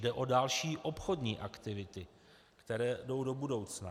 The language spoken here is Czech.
Jde o další obchodní aktivity, které jdou do budoucna.